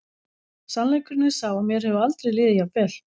Sannleikurinn er sá að mér hefur aldrei liðið jafn vel.